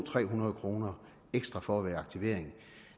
hundrede nul kroner ekstra for at være i aktivering